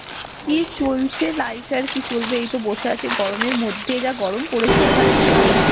কি চলছে life এর আর কি চলবে এই তো বসে আছি গরমের মধ্যে যা গরম পরেছে এখানে.